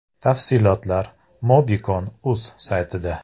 Tafsilotlar “MobiCon.uz” saytida.